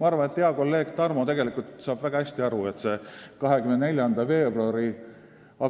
Ma arvan, et hea kolleeg Tarmo tegelikult saab väga hästi aru, et see 24. veebruari